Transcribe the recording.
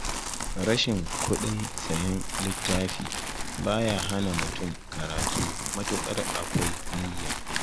Rashin kuɗin sayen littafi ba ya hana mutum karatu matuƙar akwai niyya